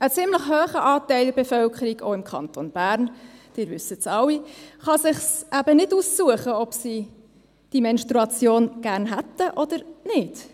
Ein ziemlich hoher Anteil der Bevölkerung, auch im Kanton Bern – Sie alle wissen das –, kann es sich eben nicht aussuchen, ob sie die Menstruation gerne hätten oder nicht.